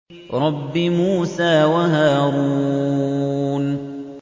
رَبِّ مُوسَىٰ وَهَارُونَ